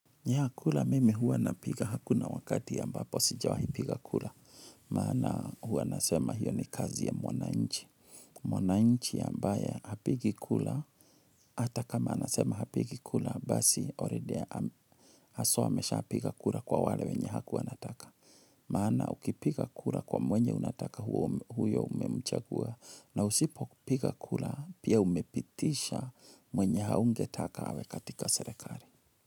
Kura mimi huwa napiga. Hakuna wakati ambapo sijawahi piga kura, maana huwa nasema hiyo ni kazi ya mwananchi. Mwana nchi ambaye hapigi kula, ata kama anasema hapigi kula basi already haswa amesha piga kula kwa wale wenye hakuanataka. Maana ukipiga kula kwa mwenye unataka huyo umemchagua na usipo piga kula pia umepitisha mwenye haunge taka awe katika selekari.